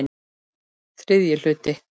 Þriðji hluti